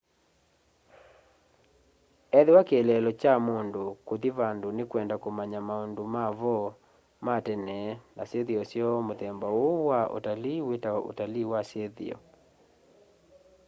ethĩwa kĩeleelo kya mundu kuthi vandu ni kwenda umanya maundu mavo ma tene na syithio syoo muthemba uyu wa utalii witawa utalii wa syithio